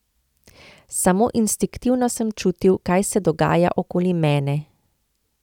Samo instinktivno sem čutil, kaj se dogaja okoli mene.